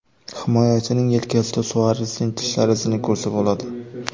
Himoyachining yelkasida Suaresning tishlari izini ko‘rsa bo‘ladi.